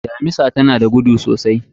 Mamisa tanada gudu sosai.